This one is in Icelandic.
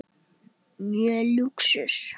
um og snúrum.